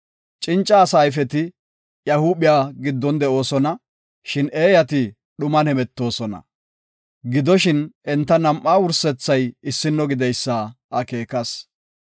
Cinca asa ayfeti iya huuphiya giddon de7oosona; shin eeyati dhuman hemetoosona. Gidoshin, enta nam7aa wursethay issino gideysa akeekas.